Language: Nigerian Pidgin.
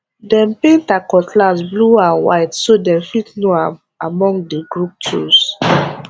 dem paint her cutlass blue and white so dem fit know am among the group tools